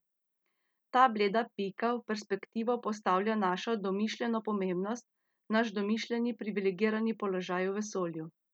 Ta bleda pika v perspektivo postavlja našo domišljeno pomembnost, naš domišljeni privilegirani položaj v vesolju.